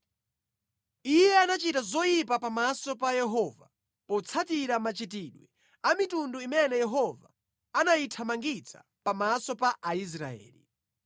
Iye anachita zoyipa pamaso pa Yehova, potsatira machitidwe a mitundu imene Yehova anayithamangitsa pamaso pa Aisraeli.